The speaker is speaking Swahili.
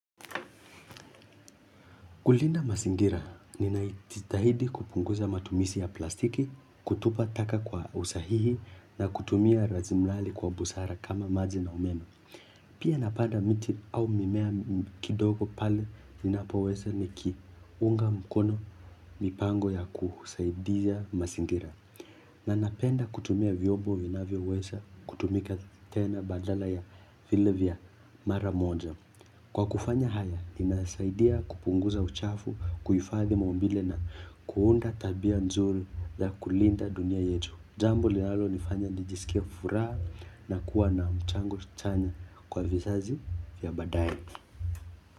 Kulinda mazingira, ninajitahidi kupunguza matumizi ya plastiki, kutupa taka kwa usahihi na kutumia rasilimali kwa busara kama maji na umeme. Pia napanda miti au mimea kidogo pale ninapoweza nikiunga mkono, mipango ya kusaidia mazingira. Na napenda kutumia vyombo vinavyoweza kutumika tena badala ya vile vya mara moja. Kwa kufanya haya, ninasaidia kupunguza uchafu, kuhifadhi maumbile na kuunda tabia nzuri na kulinda dunia yetu. Jambo linalo nifanya nijisikie furaha na kuwa na mchango chanya kwa vizazi ya baadae.